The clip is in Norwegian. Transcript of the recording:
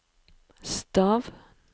stav